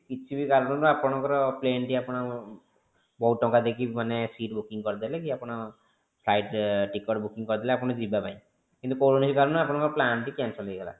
କିଛି ବି କାରଣ ରୁ ଆପଣଙ୍କର plane ଟି ଆପଣ ବହୁତ ଟଙ୍କା ଦେଇକି ମାନେ sheet booking କରିଦେଲେ କି ଆପଣ କି flight ରେ ticket booking କରିଦେଲେ ଆପଣ ଯିବା ପାଇଁ କିନ୍ତୁ କୌଣସି କାରଣରୁ plane ଟି cancel ହେଇଗଲା